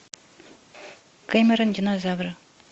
кэмерон динозавры